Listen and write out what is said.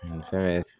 Muso bɛ